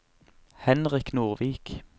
Henrik Nordvik